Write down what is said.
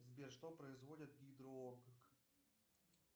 сбер что производит гидро ок